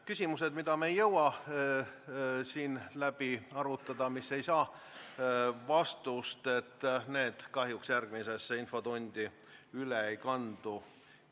Küsimused, mida me ei jõua siin läbi arutada ja mis ei saa vastust, kahjuks järgmisesse infotundi üle ei kandu.